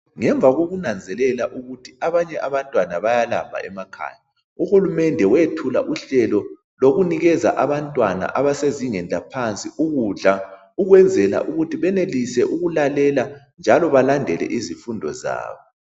Ngemva kokunanzelela ukuthi abanye abantwana bayalamba emakhaya , uhulumende wethuka uhlelo lokunikeza abantwana abasezingeni laphansi ukudla ukwenzela ukuthi benelise ukudlalela njalo balandelele izifundo zabo